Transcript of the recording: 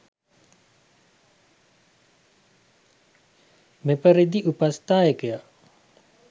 මෙපරිදි උපස්ථායකයා